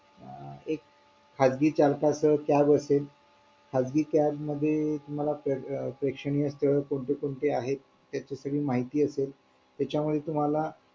एक खाजगी चालकाचं tag असेल खाजगी tag मध्ये तुम्हाला कोणते कोणते आहेत त्याची माहिती असेल त्याच्यामध्ये तुम्हाला